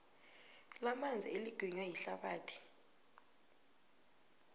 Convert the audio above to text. lamanzi eliginywa yihlabathi